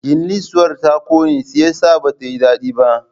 Gullisuwar ta ƙone shiyasa ba tayi daɗi ba